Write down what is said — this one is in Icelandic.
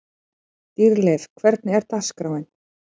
Dýrleif, hvernig er dagskráin?